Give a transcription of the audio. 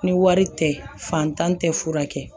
Ni wari tɛ fantan tɛ furakɛ